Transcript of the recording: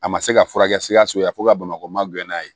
A ma se ka furakɛ sikaso yanfan ka bamakɔ ma gɛrɛ n'a ye